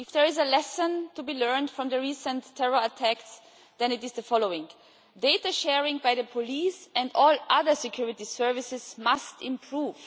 If there is a lesson to be learned from the recent terror attacks then it is the following data sharing by the police and all other security services must improve.